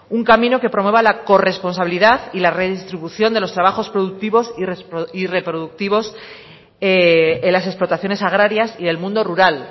un camino que promueva la corresponsabilidad y la redistribución de los trabajos productivos y reproductivos en las explotaciones agrarias y el mundo rural